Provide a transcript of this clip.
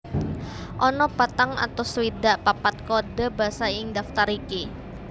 Ana patang atus swidak papat kode basa ing daftar iki